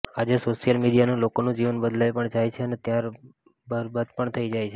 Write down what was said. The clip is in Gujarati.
આજે સોશીયલ મીડિયાથી લોકોનું જીવન બદલાય પણ જાય છે અને બરબાદ પણ થઈ જાય છે